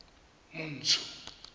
montsho